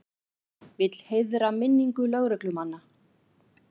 Vill heiðra minningu lögreglumanna